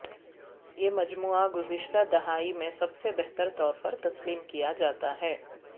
یہ مجموعہ گزشتہ دہائی میں سب سے بہتر طور پر تسلیم کیا جاتا ہے